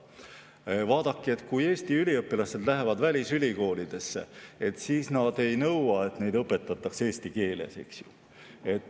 Vaadake, kui Eesti üliõpilased lähevad välisülikoolidesse, siis nad ei nõua, et neid õpetataks seal eesti keeles.